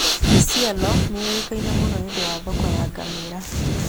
Isiolo nĩ ĩũĩkaine mũno nĩ ũndũ wa thoko ya ngamĩĩra.